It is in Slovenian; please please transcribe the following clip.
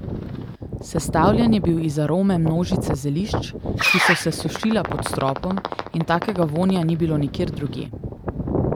Sestavljen je bil iz arome množice zelišč, ki so se sušila pod stropom, in takega vonja ni bilo nikjer drugje.